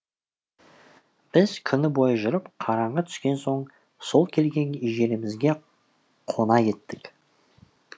біз күні бойы жүріп қараңғы түскен соң сол келген жерімізге қона еттік